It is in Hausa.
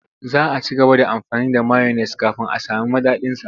Za a ci gaba da amfani da mayones kafin a sami madadinsa.